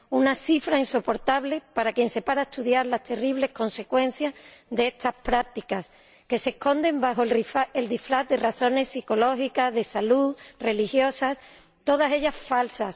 Una cifra insoportable para quien se para a estudiar las terribles consecuencias de estas prácticas, que se esconden bajo el disfraz de razones psicológicas, de salud, religiosas, todas ellas falsas.